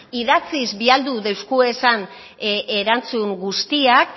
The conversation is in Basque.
idatziz bidaldi deuskuezan erantzun guztiak